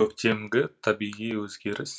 көктемдегі табиғи өзгеріс